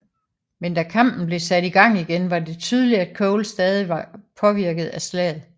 Men da kampen blev sat i gang igen var det tydeligt at Cole stadig var påvirket af slaget